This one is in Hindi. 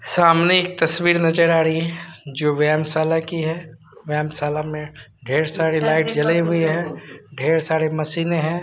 सामने एक तस्वीर नजर आ रही है जो व्यायाम शाला की है व्यायाम शाला में ढेर सारी लाइट जले हुए हैं ढेर सारे मशीने हैं।